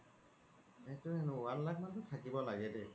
one lakh মানতো থাকিব লাগে দেই